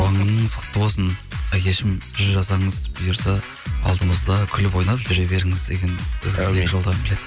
туған күніңіз құтты болсын әкешім жүз жасаңыз бұйырса алдымызда күліп ойнап жүре беріңіз деген жолдағым келеді